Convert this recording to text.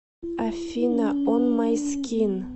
афина он май скин